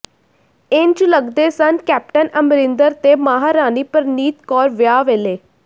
ਇੰਝ ਲਗਦੇ ਸਨ ਕੈਪਟਨ ਅਮਰਿੰਦਰ ਤੇ ਮਹਾਰਾਣੀ ਪ੍ਰਨੀਤ ਕੌਰ ਵਿਆਹ ਵੇਲੇ